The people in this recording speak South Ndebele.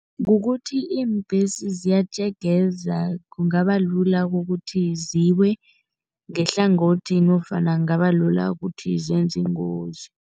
Kukuthi iimbhesi ziyatjegeza, kungabalula kukuthi ziwe ngehlangothi nofana kungabalula ukuthi zenze ingozi.